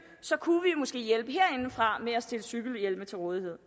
kunne vi måske hjælpe herindefra med at stille cykelhjelme til rådighed